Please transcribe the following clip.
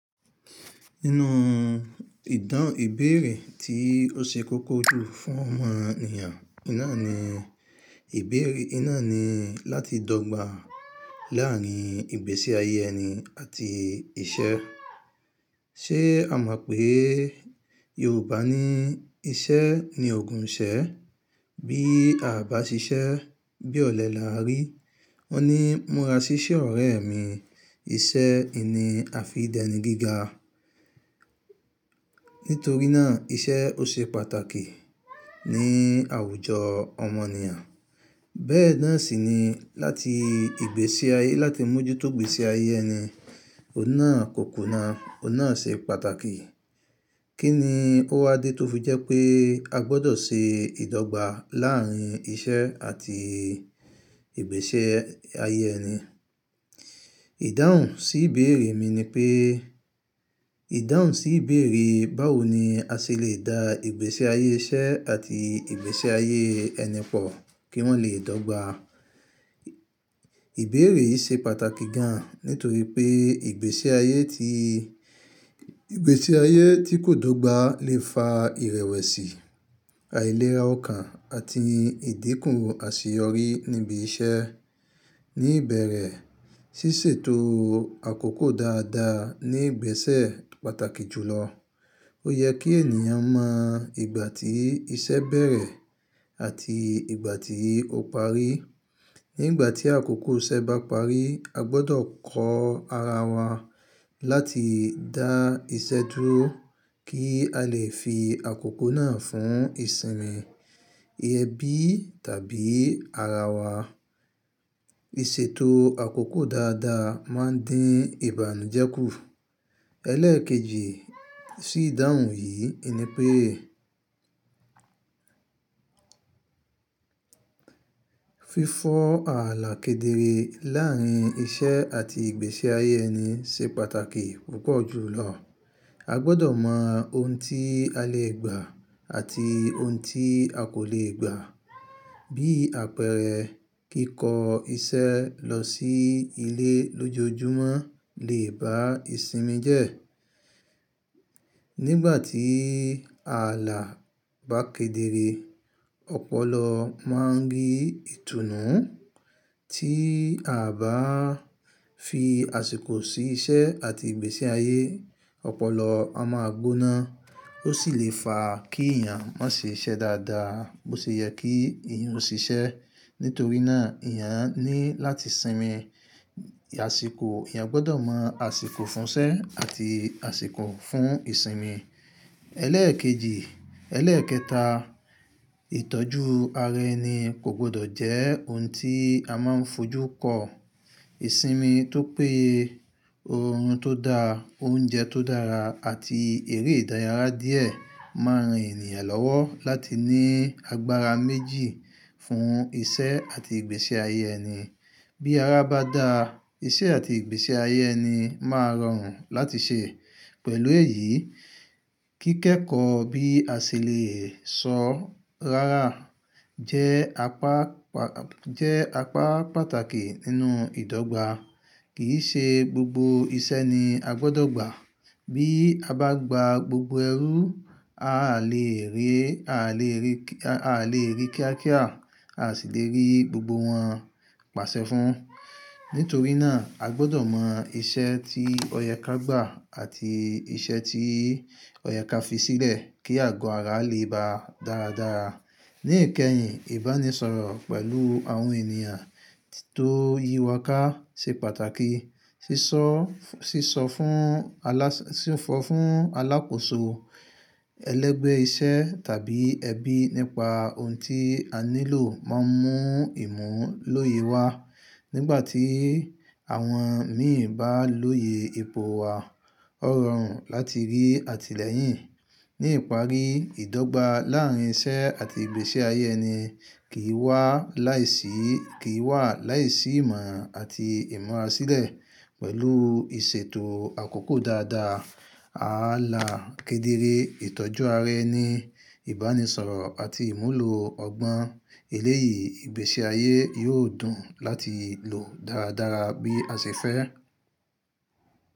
Nínú ìdán ìbéèrè tí ó ṣe kókó jù fún ọmọ ènìyàn, iná ni ìbéèrè iná ni láti dọ́gba láàrin ìgbésí ayé ẹni àti iṣẹ́. Ṣé a mọ̀ pé Yorùbá ní iṣẹ́ ni ògùn iṣẹ́. Bí a bá ṣiṣẹ́ bí olè la rí. Wọ́n ní múra sí iṣẹ́ ọ̀rẹ́ mi. Iṣẹ́ ni àfìdí ẹni gíga. Nítorí náà iṣẹ́ ó ṣe pàtàkì ní àwùjọ ọmọ ènìyàn. Bẹ́ẹ̀ náà sì ni láti ìgbésí ayé láti mú ojútògbé sí ayé ẹni, o náà kò kùnà, o náà ṣe pàtàkì. Kí ni ó wá dé tó fi jẹ́ pé a gbọdọ̀ ṣe ìdọ́gba láàrin iṣẹ́ àti ìgbésí ayé ẹni? Ìdáhùn sí ìbéèrè mi ni pé, ìdáhùn sí ìbéèrè báwo ni a ṣe lè da ìgbésí ayé iṣẹ́ àti ìgbésí ayé ẹni pọ̀ kí wọ́n lè dọ́gba. Ìbéèrè yìí ṣe pàtàkì gan nítorí pé ìgbésí ayé tí, ìgbésí ayé tí kò dọ́gba lè fa ìrẹ̀wẹ̀sì, àìlera ọkàn àti ìdínkù àṣeyọrí níbi iṣẹ́. Ní ìbẹ̀rẹ̀, ṣíṣètò àkókò dáadáa ní ìgbésẹ̀ pàtàkì jùlọ. Ó yẹ kí ènìyàn mọ ìgbà tí iṣẹ́ bẹ̀rẹ̀ àti ìgbà tí ó parí. Nígbà tí àkókò iṣẹ́ bá parí, a gbọdọ̀ kọ ara wa láti dá iṣẹ́ dúró kí a lè fi àkókò náà fún ìsinmi, ẹbí tàbí ara wa. Ìṣètò àkókò dáadáa máa dín ìbànújẹ́ kù. Ẹlẹ́èkejì sí ìdáhùn yìí ni pé fífọ àlà kedere láàrin iṣẹ́ àti ìgbésí ayé ẹni ṣe pàtàkì púpọ̀ jùlọ. A gbọdọ̀ mọ ohun tí a lè gbà àti ohun tí a kò lè gbà. Bí àpẹẹrẹ kíko iṣẹ́ lọ sí ilé lójoojúmọ́ lè bá ìsinmi jẹ́. Nígbà tí ààlà bá kedere, ọpọlọ máa ń rí ìtùnú tí a bá fi àsìkò sí iṣẹ́ àti ìgbésí ayé. Ọpọlọ a máa gbóná. Ó sì lè fa kí èèyàn má ṣe iṣẹ́ dáadáa bó ṣe yẹ kí èèyàn ó ṣe iṣẹ́. Nítorí náà èèyàn ní láti sinmi àsìkò. Ẹ̀yàn gbọdọ̀ mọ àsìkò fún iṣẹ́ àti àsìkò fún ìsinmi. Ẹlẹ́èkejì, ẹlẹ́ẹ̀kẹta, ìtọ́jú ara ẹni kò gbọdọ̀ jẹ́ ohun tí a máa ń fojú kọ. Ìsinmi tó pé, orun tó dáa, oúnjẹ tó dára àti èrè ìdárayá díẹ̀ máa ran ènìyàn lọ́wọ́ láti ní agbára méjì fún iṣẹ́ àti ìgbésí ayé ẹni. Bí ara bá da, iṣẹ́ àti ìgbésí ayé ẹni máa rọrùn láti ṣe. Pẹ̀lú èyí, kíkẹ́kọ̀ọ́ bí a ṣe lè sọ rárà jẹ́ apá pàtàkì nínú ìdọ́gba. Kì í ṣe gbogbo iṣẹ́ ni a gbọdọ̀ gbà. Bí a bá gba gbogbo ẹrú, a lè rí, a lè rí kíá kíá, a sì lè rí gbogbo wọn pàṣẹ fún. Nítorí náà a gbọdọ̀ mọ iṣẹ́ tí ọyẹ́ ká gbà àti iṣẹ́ tí ọyẹ́ ká fi sílẹ̀ kí àgọ́ ara lè ba dáradára. Ni ìkẹyìn, ìbánisọ̀rọ̀ pẹ̀lú àwọn ènìyàn tó yíwà ká ṣe pàtàkì. Sísọ fún aláṣẹ, sí fọ̀ fún alákòóso ẹlẹ́gbẹ́ iṣẹ́ tàbí ẹbí nípa ohun tí a nílò máa ń mú ìmọ̀ lóye wá nígbà tí àwọn míì bá lóye epo wa. Ó rọrùn láti rí àtìlẹ́yìn. Ní ìparí ìdọ́gba láàrin iṣẹ́ àti ìgbésí ayé ẹni kí wà láì sí ìmọ̀ àti ìmúra sílẹ̀. Pẹ̀lú ìṣètò àkókò dáadáa, ààlà kedere, ìtọ́jú ara ẹni, ìbánisọ̀rọ̀ àti ìmúlò ọgbọ́n, elé yìí ìgbésí ayé yóò dùn láti lò dáradára bí a ṣe fẹ́.